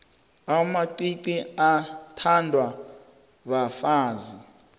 amacici athandwa bafazi